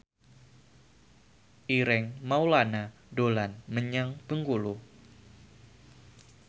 Ireng Maulana dolan menyang Bengkulu